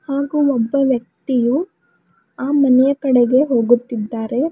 ಹಾಗೂ ಒಬ್ಬ ವ್ಯಕ್ತಿಯು ಆ ಮನೆಯ ಕಡೆಗೆ ಹೋಗುತ್ತಿದ್ದಾರೆ.